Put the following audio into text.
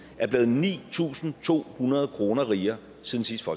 er blevet ni tusind to hundrede kroner rigere siden sidste